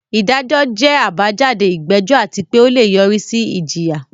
Ìdájọ́ jẹ́ àbájáde ìgbẹ́jọ́ àti pé ó lè yọrí sí ìjìyà.